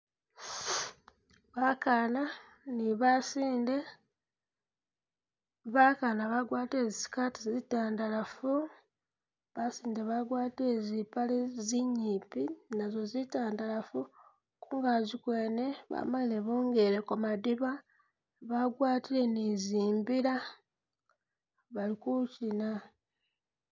Bakaana ni basinde, bakaana bagwatile zisikaati zitandalafu, basinde bagwatile zipaale zinyipi nazo zitandalafu kungazi gwene bamalile bongeleko madiba bagwatile ni zimbila bali kuchina